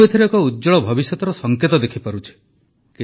ମୁଁ ଏଥିରେ ଏକ ଉଜ୍ଜ୍ୱଳ ଭବିଷ୍ୟତର ସଙ୍କେତ ଦେଖିପାରୁଛି